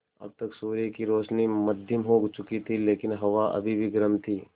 अब तक सूर्य की रोशनी मद्धिम हो चुकी थी लेकिन हवा अभी भी गर्म थी